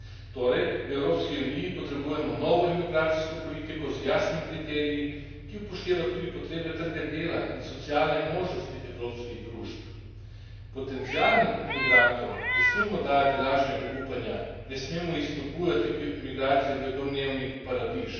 Torej v Evropski uniji potrebujemo novo imigracijsko politiko, z jasnimi kriteriji, ki upošteva tudi potrebe trga dela in socialne možnosti evropskih družb. Potencialnim imigrantom ne smemo dajati lažnega upanja, ne smemo jih spodbujati k migraciji v domnevni paradiž.